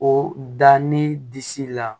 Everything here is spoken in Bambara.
O da ni disi la